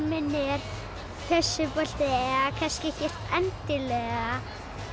minn er þessi bolti eða kannski ekkert endilega